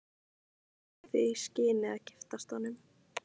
Íslands í því skyni að giftast honum.